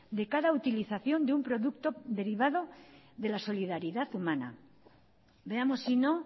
de cada utilización de un producto derivada de la solidaridad humana veamos si no